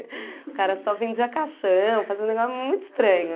O cara só vendia caixão, fazia um negó muito estranho.